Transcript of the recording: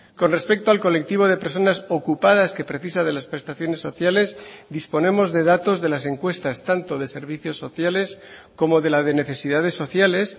con respecto al colectivo de personas ocupadas que precisa de las prestaciones sociales disponemos de datos de las encuestas tanto de servicios sociales como de la de necesidades sociales